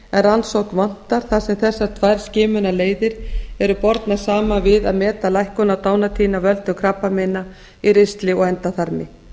rannsókn vantar þar sem þessar tvær skimunarleiðir eru bornar saman við að meta lækkun á dánartíðni af völdum krabbameina í ristli og endaþarmi